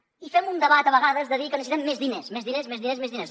i fem un debat a vegades de dir que necessitem més diners més diners més diners i més diners